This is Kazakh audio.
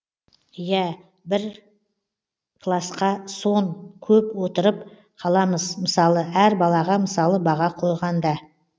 иә бір классқа сон көп отырып қаламыз мысалы әр балаға мысалы баға қойғанда